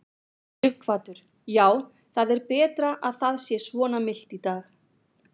Sighvatur: Já, það er betra að það sé svona milt í dag?